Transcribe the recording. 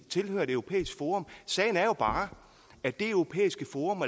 tilhører et europæisk forum sagen er jo bare at det europæiske forum